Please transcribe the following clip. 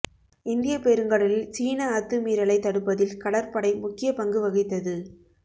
இந்திய பெருங்கடலில் சீன அத்துமீறலை தடுப்பதில் கடற்படை முக்கிய பங்கு வகித்தது